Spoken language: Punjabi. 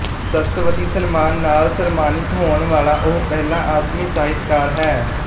ਸਰਸਵਤੀ ਸਨਮਾਨ ਨਾਲ ਸਨਮਾਨਿਤ ਹੋਣ ਵਾਲਾ ਉਹ ਪਹਿਲਾ ਆਸਮੀ ਸਾਹਿਤਕਾਰ ਹੈ